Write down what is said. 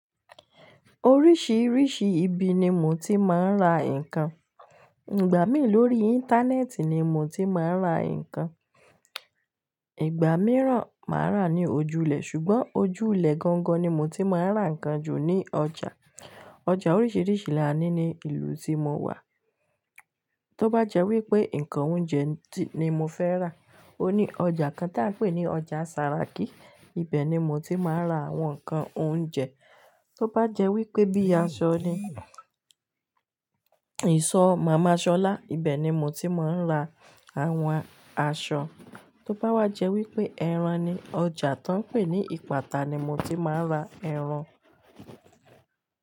Oríṣìíríṣìí ibi ni mo ti máa ń ra nǹkan. Ìgbà mí lórí Íńtánẹ́ẹ̀tì ni mo ti máa ń ra nǹkan, ìgbà mìíràn máa rà ní ojúlẹ̀, ṣùgbọ́n ojúlẹ̀ gangan ni mo ti máa ń ra nǹkan ju ní ọjà. Ọjà oríṣìíríṣìí là ní ní ìlú tí mo wà. Tóbá jẹ́ wípé nǹkan oúnjẹ ni mo fẹ́ rà, òní ọjà kan tí à ń pè ní ọjà Ṣàràkí, ibẹ̀ ni mo ti máa ń ra àwọn nǹkan oúnjẹ. Tóbá jẹ́ wípé bíi aṣọ ni, ìsọ̀ Màmá Ṣọlá, ibẹ̀ ni mo ti máa ń ra àwọn aṣọ. Tóbá wá jẹ́ wípé ẹran ni, ọjà tó ń pè ní Ìpàtà ni mo ti máa ń ra ẹran.